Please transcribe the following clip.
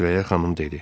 Sürəyya xanım dedi: